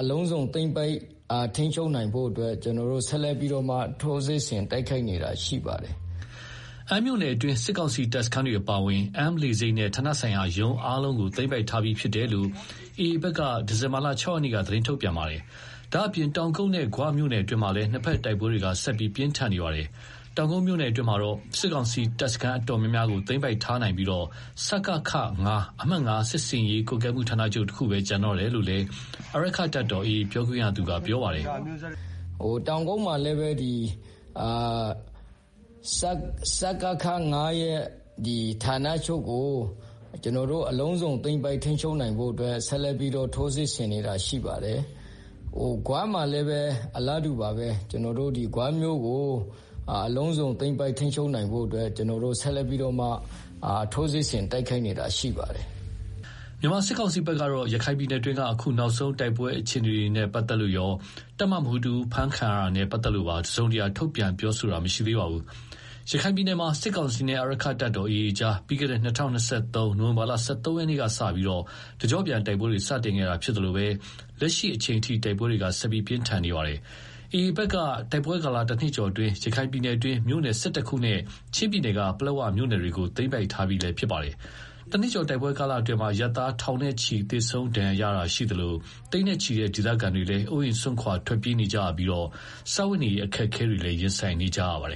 အလုံးစုံသိမ်းပိုက်ထိန်းချုပ်နိုင်ဖို့ ကျနော်တို့ဆက်လက်ပြီးတော့ ထိုးစစ်ဆင်တိုက်ခိုက်နေတာဖြစ်ပါတယ်။” အမ်းမြို့နယ်အတွင်း စစ်ကောင်စီတပ်စခန်းတွေ အပါအဝင် အမ်းလေဆိပ်နဲ့ ဌာနဆိုင်ရာရုံးအားလုံးကို သိမ်းပိုက်ထားပြီးဖြစ်တယ်လို့လည်း AAဘက်က ဒီဇင်ဘာလ ၆ရက်နေ့က သတင်းထုတ်ပြန် ထားပါတယ်။ ဒါ့အပြင် တောင်ကုတ်နဲ့ ဂွမြို့နယ်အတွင်းမှာလည်း နှစ်ဘက်တိုက်ပွဲတွေ ဆက်လက်ပြင်းထန်နေပါတယ်။ တောင်ကုတ်မြို့နယ်အတွင်းမှာတော့ စစ်ကောင်စီတပ်စခန်းတော်တော်များများကို သိမ်းပိုက်ထားနိုင်ပြီး စကခ-၅ (အမှတ် ၅ စစ်ဆင်ရေးကွပ်ကဲမှုဌာနချုပ်) တခုသာကျန်တော့တယ်လို့လည်း အာရက္ခတပ်တော် AA ပြောခွင့်ရ ခိုင်သုခက ပြောပါတယ်။ “ တောင်ကုတ်မှာလည်းပဲ စကခ-၅ဌာနချုပ်ကို ဆက်လက်ပြီးတော့ ထိုးစစ်ဆင်နေတာရှိပါတယ်၊ ဂွမှာ လည်းပဲ အလားတူပါပဲ ဂွမြို့ကို သိမ်းပိုက်ထိန်းချုပ်နိုင်ဖို့ ဆက် လက်ပြီးတော့ ထိုးစစ်ဆင်တိုက်ခိုက် နေတာရှိပါတယ်။” မြန်မာစစ်ကောင်စီဘက်ကတော့ ရခိုင်ပြည်နယ်တွင်းက နောက်ဆုံးတိုက်ပွဲအခြေအနေတွေနဲ့ပတ်သက်လို့ရော တပ်မမှုးတဦးဖမ်းခံရတာနဲ့ပတ်သက်လို့ပါ တစုံတရာထုတ်ပြန်ပြောဆိုတာမရှိသေးပါဘူး။ ရခိုင်ပြည်နယ်မှာ စစ်ကောင်စီနဲ့ အာရက္ခတပ်တော် AA အကြား ပြီးခဲ့တဲ့ ၂၀၂၃ ခုနှစ် နိုဝင်ဘာလ ၁၃ရက် နေ့ကစပြီး တကျော့ပြန်တိုက်ပွဲတွေ စတင်ခဲ့တာ ဖြစ်သလို လက်ရှိအချိန်ထိ တိုက်ပွဲတွေ ဆက်လက်ပြင်းထန်နေတာပါ။ AA ဘက်ကတော့ တိုက်ပွဲကာလ တနှစ်ကျော်အတွင်း ရခိုင်ပြည်နယ်က မြို့နယ် ၁၁ခုနဲ့ ချင်းပြည်နယ်က ပလက်ဝမြို့နယ်တွေကို သိမ်းပိုက်ထားပြီးလည်း ဖြစ်ပါတယ်။ တနှစ်ကျော်တိုက်ပွဲကာလအတွင်း အရပ်သား ထောင်နဲ့ချီသေဆုံးဒဏ်ရာရရှိခဲ့တာရှိသလို၊ သိန်းနဲ့ချီတဲ့ ဒေသခံတွေဟာလည်း အိုးအိမ်စွန့်ခွာထွက်ပြေးနေကြရပြီး စားဝတ်နေရေးအခက်အခဲတွေလည်း ရင်ဆိုင်နေကြရပါတယ်